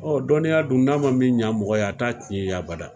Ɔɔ dɔnniya dun, n'a ma min ɲɛn mɔgɔ ye a t'a tiɲɛ i ye abada.